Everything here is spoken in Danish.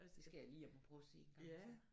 Det skal jeg lige hjem og prøve og se en gang til